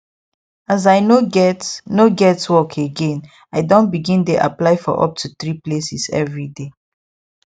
as i no get no get work againi don begin dey apply for up to 3 places every day